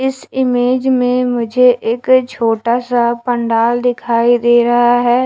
इस इमेज में मुझे एक छोटा सा पंडाल दिखाई दे रहा है।